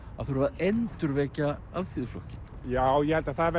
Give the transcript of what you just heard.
það þurfi að endurvekja Alþýðuflokkinn já ég held að það